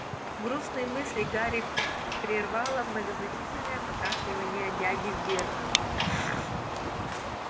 грустные мысли гарри прервало многозначительное покашливание дяди вернона